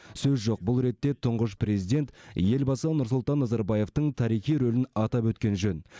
сөз жоқ бұл ретте тұңғыш президент елбасы нұрсұлтан назарбаевтың тарихи рөлін атап өткен жөн